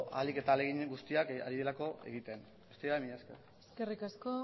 ahalik eta ahalegin guztiak ari direlako egiten besterik gabe mila esker eskerrik asko